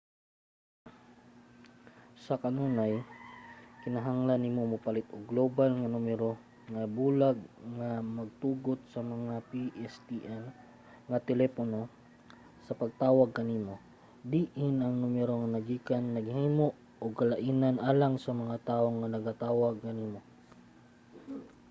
sa kanunay kinahanglan nimo mopalit og global nga numero nga bulag nga magtugot sa mga pstn nga telepono sa pagtawag kanimo. diin ang numero naggikan naghimo og kalainan alang sa mga tawo nga nagatawag kanimo